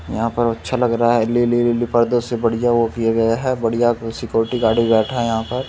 यहाँ पर अच्छा लग रहा है | से बढ़िया वो किया गया है बढ़िया सिक्योरिटी गार्ड भी बैठा हुआ है वहां पर |